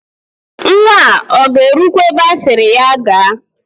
Nwa a ọ ga-erukwa ebe asịrị ya gaa?